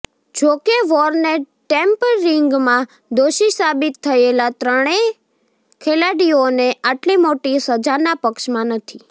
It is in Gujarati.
જોકે વોર્ને ટેમ્પરિંગમાં દોષી સાબિત થયેલા ત્રણેય ખેલાડીઓને આટલી મોટી સજાના પક્ષમાં નથી